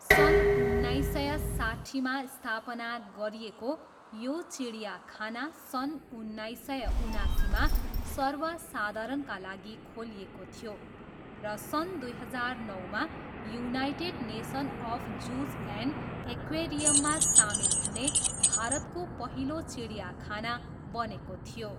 सन् उन्नाइस सय साठ्ठीमा स्थापना गरिएको यो चिडियाखाना सन् उन्नाइस सय उनासीमा सर्वसाधारणका लागि खोलिएको थियो र सन् दुई हजार नौमा united nation of zoos and एक्वेरियममा सामेल हुने भारतको पहिलो चिडियाखाना बनेको थियो।